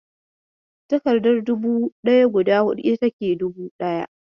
Takardar dubu ɗaya guda hudu ita take dubu ɗaya.